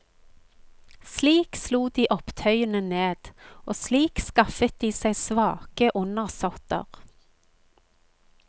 Slik slo de opptøyene ned, og slik skaffet de seg svake undersåtter.